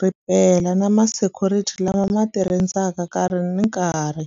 ri pela na ma security lama ma ti rindzaka nkarhi ni nkarhi.